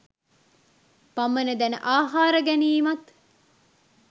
පමණ දැන ආහාර ගැනීමත්